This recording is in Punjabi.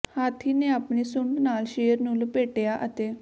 ਹਾਥੀ ਨੇ ਆਪਣੀ ਸੁੰਡ ਨਾਲ ਸ਼ੇਰ ਨੂੰ ਲਪੇਟਿਆ ਅਤੇ